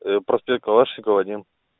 а проспект калашникова один